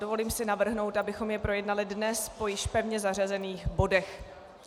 Dovolím si navrhnout, abychom jej projednali dnes po již pevně zařazených bodech.